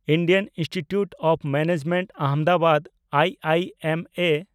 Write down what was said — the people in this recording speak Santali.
Indian Institute of Management Ahmedabad (I I M A)